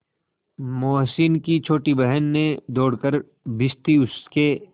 मोहसिन की छोटी बहन ने दौड़कर भिश्ती उसके